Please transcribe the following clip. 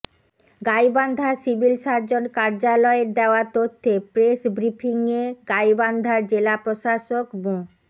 Gaibandha civil surgeon কার্যালয়ের দেওয়া তথ্যে প্রেস ব্রিফিংয়ে গাইবান্ধার জেলা প্রশাসক মো